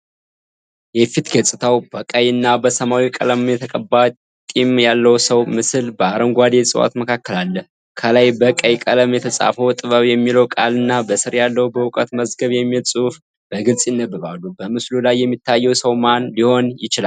የፊት ገጽታው በቀይና በሰማያዊ ቀለም የተቀባ ጢም ያለው ሰው ምስል በአረንጓዴ እፅዋት መካከል አለ። ከላይበቀይ ቀለም የተፃፈው "ጥበብ" የሚለው ቃልና በስር ያለው "በዕውቀት መዝገብ" የሚል ጽሑፍ በግልጽ ይነበባሉ። በምስሉ ላይ የሚታየው ሰው ማን ሊሆን ይችላል?